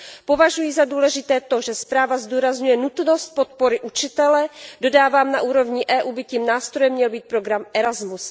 Považuji za důležité to, že zpráva zdůrazňuje nutnost podpory učitele, dodávám, že na úrovni EU by tím nástrojem měl být program ERASMUS.